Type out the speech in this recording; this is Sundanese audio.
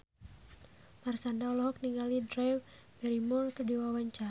Marshanda olohok ningali Drew Barrymore keur diwawancara